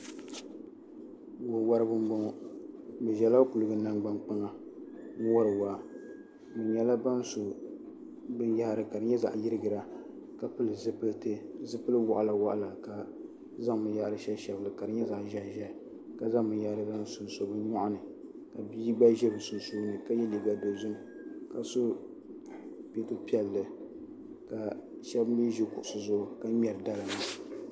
wawariba m-bɔŋɔ bɛ ʒela kuliga nangbankpaŋa wari waa bɛ nyɛla ban so binyɛhiri ka di nyɛ zaɣ'yirigira ka pili zipiliti zipili waɣila waɣila ka zaŋ binyɛhiri shɛbi shɛbi li ka di nyɛ zaɣ'ʒɛhiʒɛhi ka zaŋ binyɛhiri zaŋ sonso bɛ nyɔri ni ka bia gba ʒe bɛ sunsuuni ka ye liiga dozim ka so peto piɛlli ka shɛba mi ʒi kuɣusi zuɣu ka ŋmɛri dala maa.